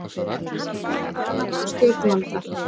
Gagnrýna ráðningu stjórnvalda